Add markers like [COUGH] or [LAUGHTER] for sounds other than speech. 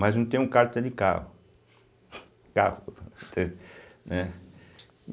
Mas não tenho carta de carro. [SIGHS] carro, entende, né?